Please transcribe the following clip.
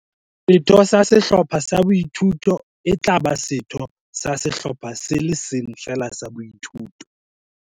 Setho sa Sehlopha sa Boithuto e tla ba setho sa Sehlopha se le seng feela sa Boithuto.